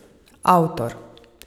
Avtor?